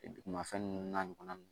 Dugumafɛn ninnu n'a ɲɔgɔnna ninnu